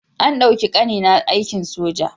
An ɗauki ƙanina a aikin soja.